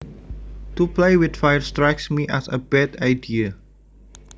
To play with fire strikes me as a bad idea